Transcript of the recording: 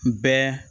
Bɛɛ